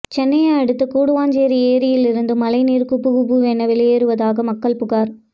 சென்னையை அடுத்த கூடுவாஞ்சேரி ஏரியில் இருந்து மழைநீர் குபுகுபுவென வெளியேறுவதாக மக்கள் புகார்